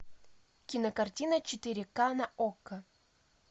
кинокартина четыре ка на окко